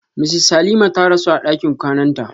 Mrs Halima ta rasu a ɗakin kwananta.